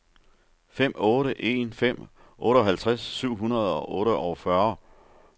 fem otte en fem otteoghalvtreds syv hundrede og otteogfyrre